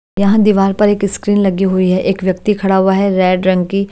यहाँ दीवार पर एक स्क्रीन लगी हुई है एक व्यक्ति खड़ा हुआ है रेड रंग की--